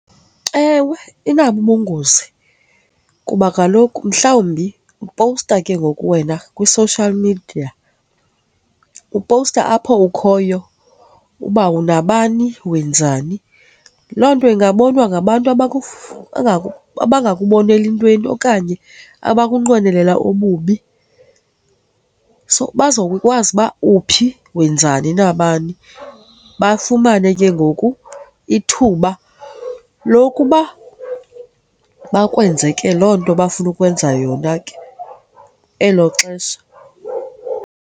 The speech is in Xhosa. Ewe, inabo ubungozi kuba kaloku mhlawumbi upowusta ke ngoku wena kwi-social media, upowusta apho ukhoyo uba unabani wenzani. Loo nto ingabonwa ngabantu abangakuboneli entweni okanye abakunqwenelela ububi. So, bazokwazi uba uphi wenzani na bani, bafumane ke ngoku ithuba lokuba bekwenze ke loo nto bafuna ukwenza yona ke elo xesha.